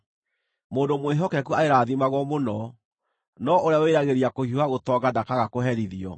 Mũndũ mwĩhokeku arĩrathimagwo mũno, no ũrĩa wĩriragĩria kũhiũha gũtonga ndakaaga kũherithio.